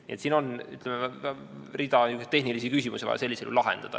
Nii et siin on hulk tehnilisi küsimusi, mis oleks vaja ära lahendada.